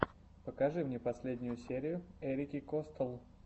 покажи мне последнюю серию эрики костелл